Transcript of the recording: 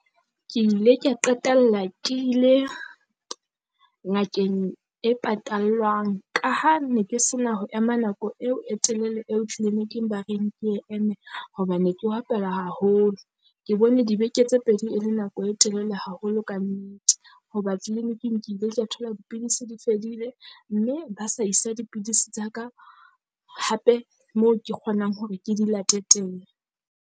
Ke ile kea qetella ke ile ngakeng e patallwang ka ha ne ke sena ho ema nako eo e telele eo clinic-ing ba reng ke eme, hoba ne ke opelwa haholo. Ke bone dibeke tse pedi e le nako e telele haholo kannete. Hoba clinic-ing ke ile ka thola dipidisi di fedile mme ba sa isa dipidisi tsa ka hape moo ke kgonang hore ke di late teng.